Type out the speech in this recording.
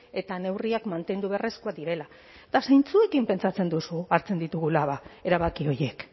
eta neurriak mantendu beharrezkoak direla eta zeintzuekin pentsatzen duzu hartzen ditugula ba erabaki horiek